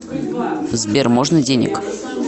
сбер можно денег